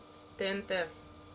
тнт